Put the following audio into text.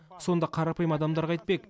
сонда қарапайым адамдар қайтпек